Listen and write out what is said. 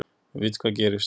Við vitum hvað gerist